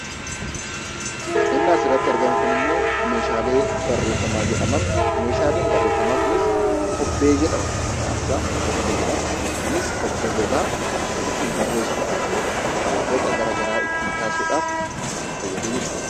Waanti asirratti argamu immoo Meeshaalee barreeffamaa jedhama. Meeshaaleen barreeffamaa kunis maqaan isaa kubbee jedhama. Kubbee ittiin barreessuudhaa fi boca garaagaraa ittiin kaasuudhaaf kan fayyaduudhaa jechuudha.